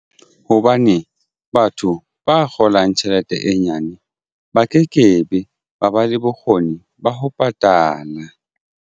Hobane batho ba kgolang tjhelete e nyane ba ke kebe ba ba le bokgoni ba ho patala.